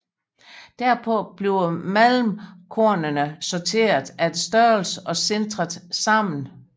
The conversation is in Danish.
Derpå bliver malmkornene sorteret efter størrelse og sintret sammen